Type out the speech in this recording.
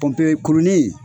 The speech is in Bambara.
pɔnpe kuruni